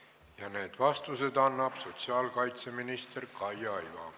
Ja need vastused annab sotsiaalkaitseminister Kaia Iva.